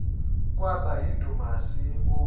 kwaba yindumasi enkulu